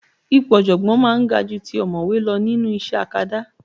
Ipò ọ̀jọ̀gbọ́n máa ń ga ju ti ọ̀mọ̀wé lọ nínú iṣẹ́ akadá